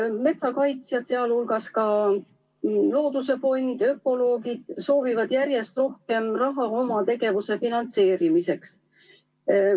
Metsakaitsjad, sealhulgas looduse fond ja ökoloogid, soovivad järjest rohkem raha oma tegevuse finantseerimiseks.